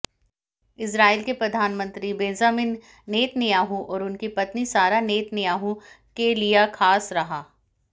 Israel के प्रधानमंत्री Benjamin Netanyahu और उनकी पत्नी सारा नेतन्याहू के लिया खास रहा